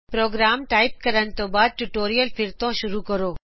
programme type ਕਰਨ ਤੋਂ ਬਾਦ ਟਿਯੂਟੋਰਿਅਲ ਫਿਰ ਤੋਂ ਸ਼ੁਰੂ ਕਰੋਂ